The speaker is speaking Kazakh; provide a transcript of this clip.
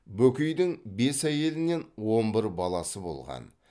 бөкейдің бес әйелінен он бір баласы болған